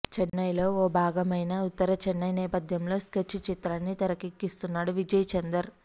చెన్నైలో ఓ భాగమైన ఉత్తర చెన్నై నేపథ్యంలో స్కెచ్ చిత్రాన్ని తెరకెక్కిస్తున్నాడు విజయ్ చందర్